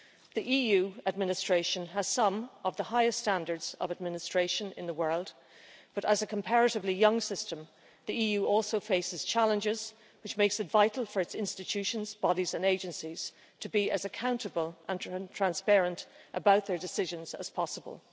The EU administration has some of the highest standards of administration in the world, but as a comparatively young system the EU also faces challenges which makes it vital for its institutions, bodies and agencies to be as accountable and transparent about their decisions as possible.